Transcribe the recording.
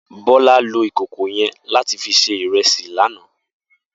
Bola ló ikókó yèn làtí fi sé irèsí làná